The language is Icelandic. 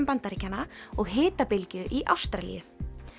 Bandaríkjanna og hitabylgju í Ástralíu